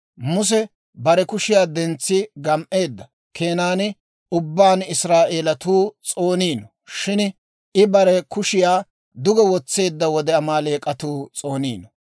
Muse bare kushiyaa dentsi gam"eedda keenan ubbaan Israa'eelatuu s'ooniino; shin I bare kushiyaa duge wotseedda wode Amaaleek'atuu s'ooniino.